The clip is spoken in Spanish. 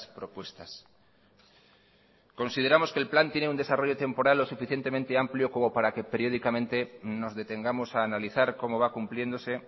propuestas consideramos que el plan tiene un desarrollo temporal o suficientemente amplio como para que periódicamente nos detengamos a analizar cómo va cumpliéndose